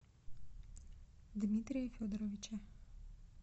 дмитрия федоровича